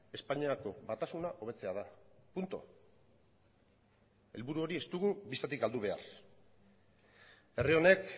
espainiako batasuna hobetzea da punto helburu hori ez dugu bistatik galdu behar herri honek